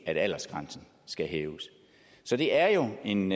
at aldersgrænsen skal hæves så det er jo en